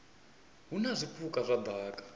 hu na zwipuka zwa daka